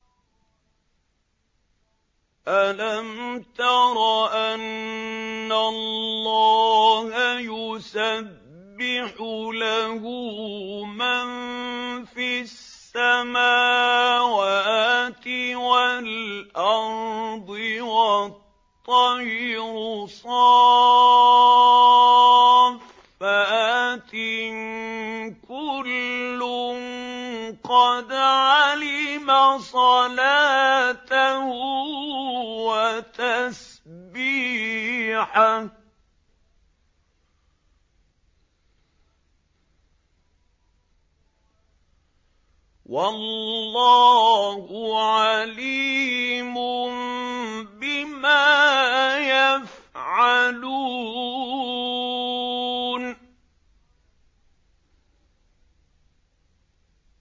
أَلَمْ تَرَ أَنَّ اللَّهَ يُسَبِّحُ لَهُ مَن فِي السَّمَاوَاتِ وَالْأَرْضِ وَالطَّيْرُ صَافَّاتٍ ۖ كُلٌّ قَدْ عَلِمَ صَلَاتَهُ وَتَسْبِيحَهُ ۗ وَاللَّهُ عَلِيمٌ بِمَا يَفْعَلُونَ